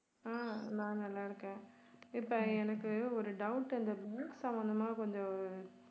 ஆஹ் நான் நல்லா இருக்கேன். இப்போ எனக்கு ஒரு doubt அந்த சம்பந்தமா கொஞ்சம்